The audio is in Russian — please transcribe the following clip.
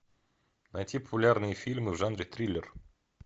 найти популярные фильмы в жанре триллер